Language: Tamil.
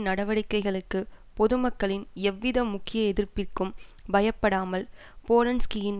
நடவடிக்கைகளுக்கு பொதுமக்களின் எவ்வித முக்கிய எதிர்ப்பிற்கும் பயப்படாமல் போலன்ஸ்கியின்